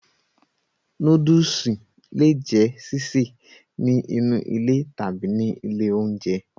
Nóódùsì le è jẹ́ sísè ní inú ilé tàbí ní ilé oúnjẹ